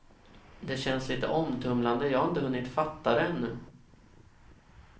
Det känns lite omtumlande, jag har inte hunnit fatta det ännu.